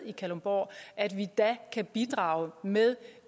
i kalundborg kan bidrage med